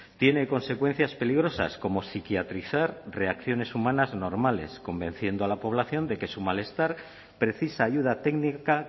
tiene consecuencias peligrosas como psiquiatrizar reacciones humanas normales convenciendo a la población de que su malestar precisa ayuda técnica